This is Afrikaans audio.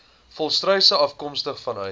volstruise afkomstig vanuit